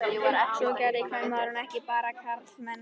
Svona gerði kvenmaður ekki, bara karlmenn.